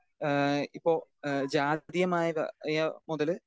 speaker 2 ഏഹ് ഇപ്പോ ഏഹ് ജാതീയമായ ക മായ മുതല്